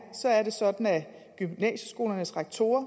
sådan at gymnasieskolernes rektorer